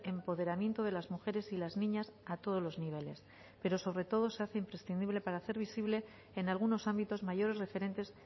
empoderamiento de las mujeres y las niñas a todos los niveles pero sobre todo se hace imprescindible para hacer visible en algunos ámbitos mayores referentes